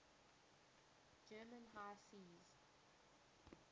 german high seas